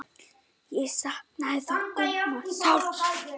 Ég saknaði þó Gumma sárt.